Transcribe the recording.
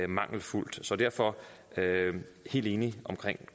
mangelfuldt så derfor er jeg helt enig